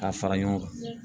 K'a fara ɲɔgɔn kan